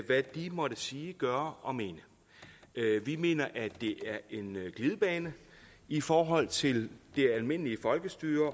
hvad de må sige gøre og mene vi mener at det er en glidebane i forhold til det almindelige folkestyre